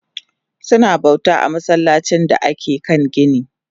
Suna bauta a masallacin da ake kan gini